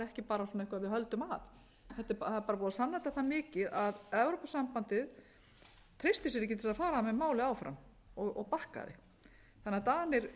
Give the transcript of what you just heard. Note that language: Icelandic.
ekki bara svona eitthvað sem við höldum að það er bara búið að sanna þetta það mikið að evrópusambandið treysti sér ekki til þess að fara með málið áfram og bakkaði þannig að danir